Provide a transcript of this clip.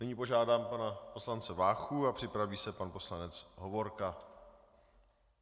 Nyní požádám pana poslance Váchu a připraví se pan poslanec Hovorka.